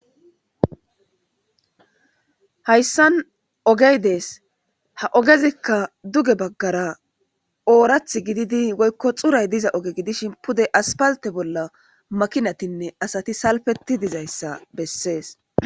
Hayssan oge des ha ogezikka duge baggara oorathi gididi woykko xuray diza oge gidishin pude aspalte bolla makiinatinne asati salpethi dizayssa besses.